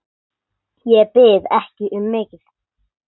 Ég bið ekki um mikið.